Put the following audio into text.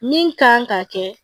Min kan ka kɛ